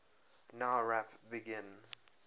nowrap begin